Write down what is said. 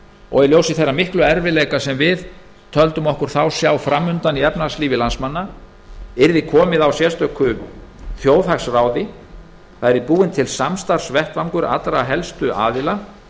og í ljósi þeirra miklu erfiðleika sem við töldum okkur þá sjá fram undan í efnahagslífi landsmanna yrði komið á sérstöku þjóðhagsráði og búinn til samstarfsvettvangur allra helstu aðila